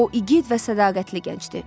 O igid və sədaqətli gəncdir.